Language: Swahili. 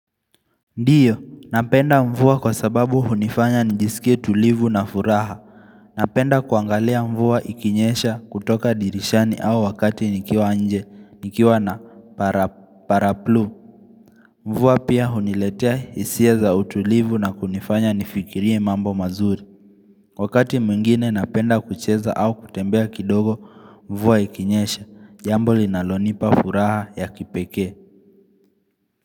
Ndio, napenda mvua kwa sababu hunifanya njisikie tulivu na furaha. Napenda kuangalia mvua ikinyesha kutoka dirishani au wakati nikiwa nje, nikiwa na Para paraplu. Mvua pia huniletea hisia za utulivu na kunifanya nifikirie mambo mazuri. Wakati mwingine napenda kucheza au kutembea kidogo mvua ikinyesha, jambo linalonipa furaha ya kipekee.